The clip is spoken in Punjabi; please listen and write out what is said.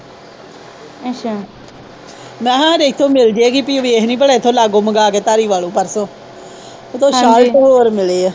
ਮੈ ਕਿਹਾ ਹਾਡੇ ਇੱਥੋਂ ਮਿਲਜੇਗੀ ਪੀ ਵੇਖਲੀ ਪਲਾ ਇੱਥੋਂ ਲਾਗੋ ਮੰਗਾ ਕੇ ਧਾਰੀਵਾਲੋ ਪਰਸੋ ਉੱਥੋਂ ਸਾਲਟ ਹੋਰ ਮਿਲੇ ਆ।